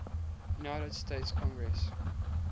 united states congress